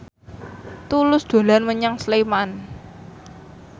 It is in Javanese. Tulus dolan menyang Sleman